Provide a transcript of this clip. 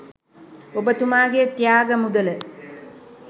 ඔබතුමාගේ ත්‍යාග මුදල